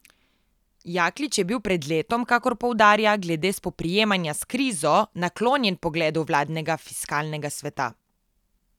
Jaklič je bil pred letom, kakor poudarja, glede spoprijemanja s krizo naklonjen pogledu vladnega fiskalnega sveta.